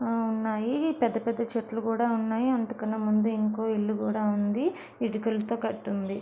ఆ ఉన్నాయి. పెద్ద పెద్ద చెట్లు కూడా ఉన్నాయి. అంతకన్నా ముందు ఇంకో ఇల్లు కూడా ఉంది. ఇటుకలతో కట్టి ఉంది.